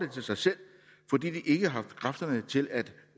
til sig selv fordi de ikke har haft kræfterne til at